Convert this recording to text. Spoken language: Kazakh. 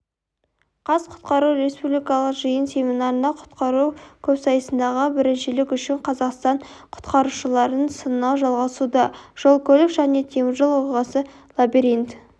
қазқұтқару республикалық жиын-семинарында құтқару көпсайысындағы біріншілік үшін қазақстан құтқарушыларын сынау жалғасуда жол-көлік және теміржол оқиғасы лабиринт